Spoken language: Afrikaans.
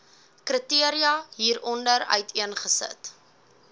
kriteria hieronder uiteengesit